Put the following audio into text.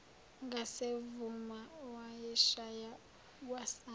ngasemuva wayeshaya kwasani